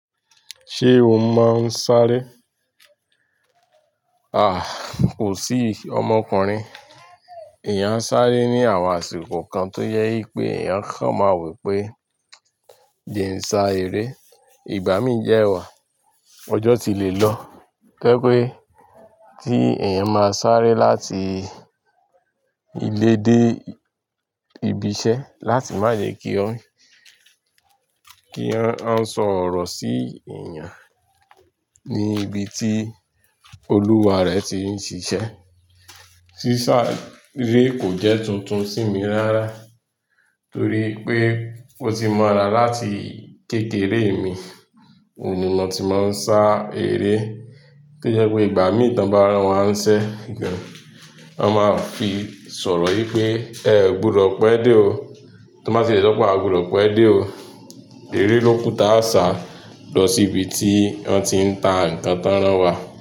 Ṣé o máa ń sáré? Aà, kò sí ọmọkùnrin. Eeyan a sáré ní àwọn àsìkò kan tó jẹ wipé eeyán a kan máa wopé, "Jẹ ń sá eré." Ìgbà mí dewà, ọjọ́ ti lè lọ. To je pé tí èèyàn máa sáré láti ilé dé ibi iṣẹ́ láti má jẹ kí wọ́n, kí wọ́n á sọ ọ̀rọ̀ sí èèyàn ní ibi tí olúwa rẹ̀ ti ń ṣiṣẹ́. Sísáré kò jẹ́ tuntun sí mi rárá torí pé ó ti mọ́ra láti kékeré mi. Èmi ni mo ti máa ń sá eré. To jẹ́ pé ìgbà mí tàn bá ràn wá ń ṣẹ́, wọn máa fi sọ̀rọ̀ wípé, "Ẹ ò gbúdọ̀ pẹ́ dé o." Tí wón bá ti le sope a gbúdọ̀ pẹ́ dé o, eré ló kù tí a sá lọ sí ibi tí wọ́n ti ń ta nǹkan tan rán wa.